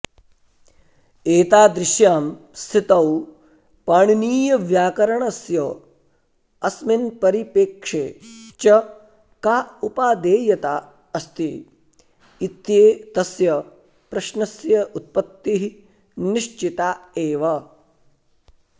एतादृश्यां स्थितौ पाणिनीयव्याकरणस्य अस्मिन् परिपेक्षे च का उपादेयता अस्ति इत्येतस्य प्रश्नस्य उत्पत्तिः निश्चिता एव